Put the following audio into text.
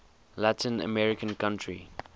latin american country